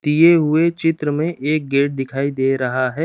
दिए हुए चित्र में एक गेट दिखाई दे रहा है।